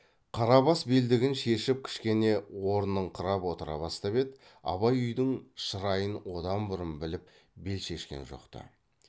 қарабас белдігін шешіп кішкене орнығыңқырап отыра бастап еді абай үйдің шырайын одан бұрын біліп бел шешкен жоқ ты